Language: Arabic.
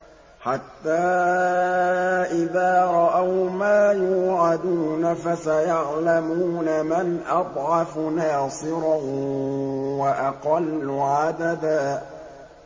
حَتَّىٰ إِذَا رَأَوْا مَا يُوعَدُونَ فَسَيَعْلَمُونَ مَنْ أَضْعَفُ نَاصِرًا وَأَقَلُّ عَدَدًا